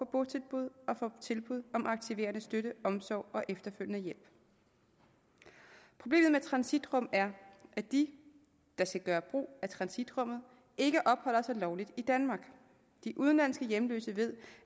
botilbud og for tilbud om aktiverende støtte omsorg og efterfølgende hjælp problemet med transitrum er at de der skal gøre brug af transitrummet ikke opholder sig lovligt i danmark de udenlandske hjemløse ved